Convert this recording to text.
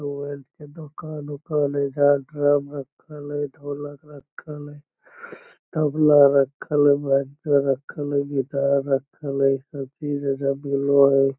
mobile के दुकान-उकान हएइधर ड्रम रखल हए ढोलक रखल हए तबला रखल हए बाजा रखल हए गिटार रखल हए सब चीज़ है जो मिलो हए --